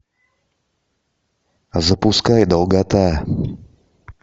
запускай долгота